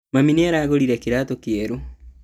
Mami nĩaragũrire kĩratu kĩerũ